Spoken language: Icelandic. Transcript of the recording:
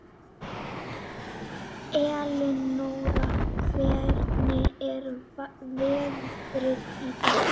Elinóra, hvernig er veðrið í dag?